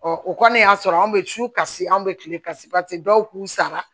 o kɔni y'a sɔrɔ anw bɛ su kasi anw bɛ kile kasi pase dɔw k'u sara